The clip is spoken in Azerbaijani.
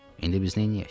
İndi biz neyləyək?